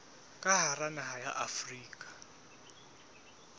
ka hara naha ya afrika